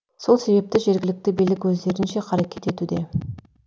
сол себепті жергілікті билік өздерінше қарекет етуде